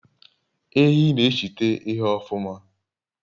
Ehi n'eshite ihe ofuma